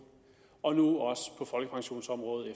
og nu også på folkepensionsområdet